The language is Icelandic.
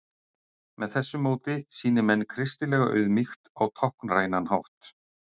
með þessu móti sýni menn kristilega auðmýkt á táknrænan hátt